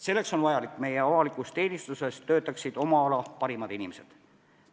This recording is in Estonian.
Selleks on vajalik, et meie avalikus teenistuses töötaksid oma ala parimad inimesed.